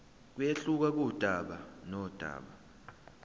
kuyehluka kudaba nodaba